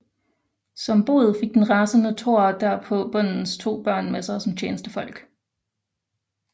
Som bod fik den rasende Thor derpå bondens to børn med sig som tjenestefolk